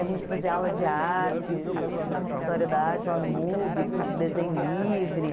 Aí comecei a fazer aula de artes, história da arte lá no Mubi, curso de desenho livre.